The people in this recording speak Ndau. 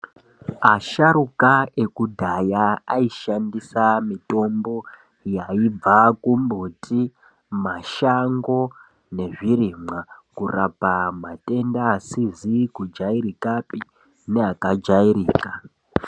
Asharukwa ekudhaya aishandisa mitombo yaibva kumbuti mashango nezvirimwa kurapa matenda asizi kujairikapi neaka jairika.